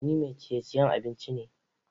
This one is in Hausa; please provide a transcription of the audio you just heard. Ni mai ciye-ciye abinci ne.